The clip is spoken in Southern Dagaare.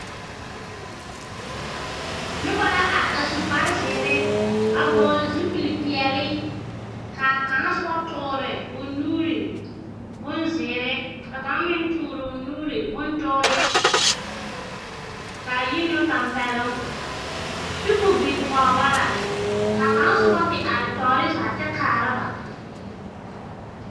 Noba la are a su kparzeere a vɔɔle zupelpeɛle kaa kaŋa soba toore o nuuri bonzeere. Ka kaŋa meŋ toore o nuuri bontoore kaa yi na wo tampɛloŋ. Tepo biŋ kɔg ba la, kaa kaŋ soba te are tɔɔre zaa kyɛ kaara ba.